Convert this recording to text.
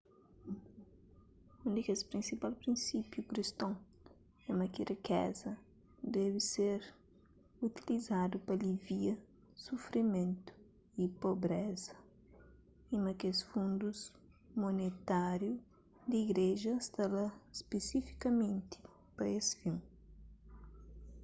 un di kes prinsipal prinsípiu kriston é ma ki rikeza debe ser utilizadu pa alivia sufrimentu y pobreza y ma kes fundus monetáriu di igreja sta lá spesifikamenti pa es fin